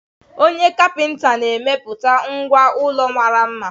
Onye kapinta na-emepụta ngwá ụlọ mara mma.